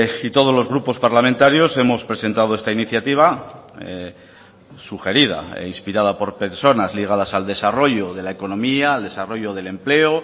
y todos los grupos parlamentarios hemos presentado esta iniciativa sugerida e inspirada por personas ligadas al desarrollo de la economía al desarrollo del empleo